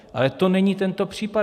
Ale to není tento případ.